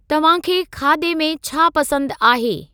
तव्हांखे खाधे मे छा पसंदि आहे?